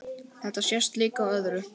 Þetta sést líka á öðru.